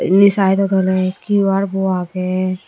indi side ot ole Q_R bu agey.